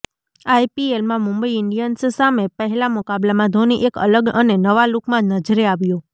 આઈપીએલમાં મુંબઈ ઇન્ડિયન્સ સામે પહેલા મુકાબલામાં ધોની એક અલગ અને નવા લુકમાં નજરે આવ્યો